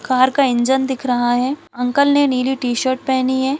Car का engine दिख रहा है अंकल ने नीली टी_शर्ट पहनी है।